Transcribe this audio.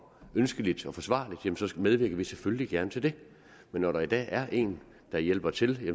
ønskeligt og forsvarligt så medvirker vi selvfølgelig gerne til det men når der i dag er en der hjælper til